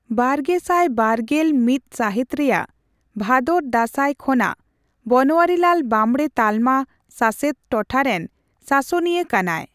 ᱵᱟᱨᱜᱮᱥᱟᱭ ᱵᱟᱨᱜᱮᱞ ᱢᱤᱛ ᱥᱟᱹᱦᱤᱛ ᱨᱮᱭᱟᱜ ᱵᱷᱟᱫᱚᱨᱼᱫᱟᱥᱟᱭ ᱠᱷᱚᱱᱟᱜ ᱵᱚᱱᱳᱣᱟᱨᱤᱞᱟᱞ ᱵᱟᱸᱵᱽᱲᱮ ᱛᱟᱞᱢᱟ ᱥᱟᱥᱮᱛ ᱴᱚᱴᱷᱟᱨᱮᱱ ᱥᱟᱥᱚᱱᱤᱭᱟ ᱠᱟᱱᱟᱭ ᱾